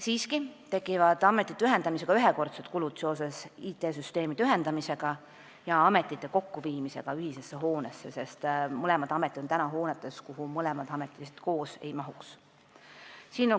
Siiski tekivad ametite ühendamisega ühekordsed kulud seoses IT-süsteemide ühendamisega ja ametite kokkuviimisega ühisesse hoonesse, sest mõlemad ametid on praegu hoones, kuhu nad koos lihtsalt ära ei mahuks.